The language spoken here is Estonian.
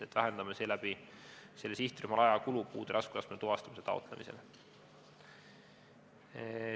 Me vähendame seeläbi sihtrühma ajakulu puude raskusastme tuvastamise taotlemisel.